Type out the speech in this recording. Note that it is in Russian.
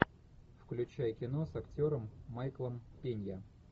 включай кино с актером майклом пенья